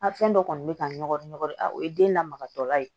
A fɛn dɔ kɔni bɛ ka ngɔgɔ ɲɔgulu o ye den lamagatɔla ye